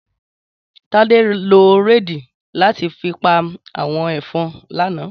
Tade ló réidí làti fi pá áwòn efòn làná